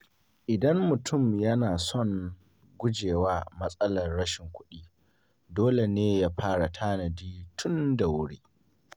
Idan mutum yana son guje wa matsalar rashin kuɗi, dole ne ya fara tanadi tun da wuri.